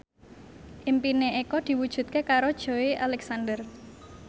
impine Eko diwujudke karo Joey Alexander